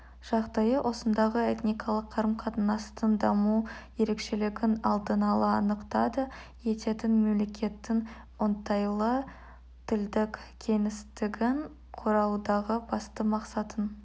жағдайы осындағы этникалық қарым-қатынастың даму ерекшелігін алдын ала анықтады ететін мемлекеттің оңтайлы тілдік кеңістігін құраудағы басты мақсатын